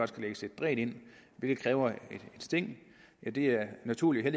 skal lægges et dræn ind hvilket kræver et sting ja det er naturligt og